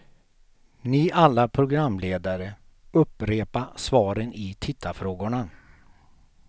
Ni alla programledare, upprepa svaren i tittarfrågorna.